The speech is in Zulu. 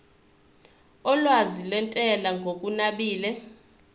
olwazi lwentela ngokunabile